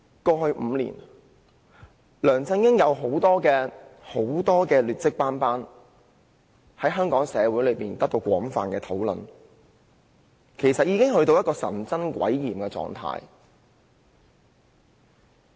過去5年，梁振英的政績可謂劣跡斑斑，在社會上備受廣泛討論，已經到了神憎鬼厭的地步。